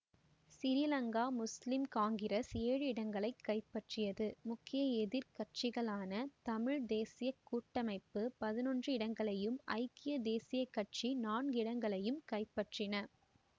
சிறீலங்கா முஸ்லிம் காங்கிரஸ் ஏழு இடங்களை கைப்பற்றியது முக்கிய எதிர் கட்சிகளான தமிழ் தேசிய கூட்டமைப்பு பதினொன்று இடங்களையும் ஐக்கிய தேசிய கட்சி நான்கு இடங்களையும் கைப்பற்றின